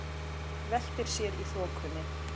Veltir sér í þokunni.